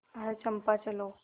आह चंपा चलो